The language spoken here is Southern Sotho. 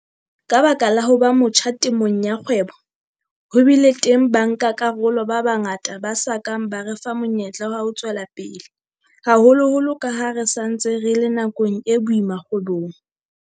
Ka baka la ho ba motjha temong ya kgwebo, ho bile teng bankakarolo ba bangata ba sa kang ba re fa monyetla wa ho tswela pele, haholoholo ka ha re sa ntse re le nakong e boima kgwebong.